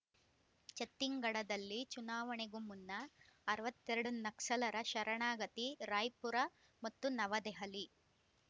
ಛತ್ತೀನ್ ಗಢದಲ್ಲಿ ಚುನಾವಣೆಗೂ ಮುನ್ನ ಅರವತ್ತೆರಡು ನಕ್ಸಲರ ಶರಣಾಗತಿ ರಾಯ್‌ಪುರಮತ್ತು ನವದೆಹಲಿ